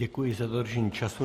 Děkuji za dodržení času.